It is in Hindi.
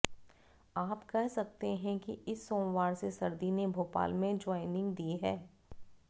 आप कह सकते हैं कि इस सोमवार से सर्दी ने भोपाल में ज्वाइनिंग दी है